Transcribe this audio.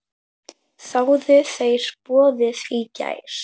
Þáðu þeir boðið í gær.